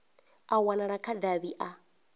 a wanala kha davhi a